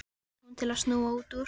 spyr hún til að snúa út úr.